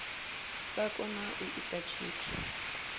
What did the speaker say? sa kona u ita tshithu